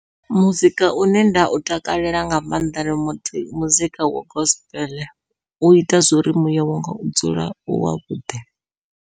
Muzika une nda u takalela nga maanḓa ndi muzika wa gospel uita zwo uri muya wanga u dzule u wavhuḓi.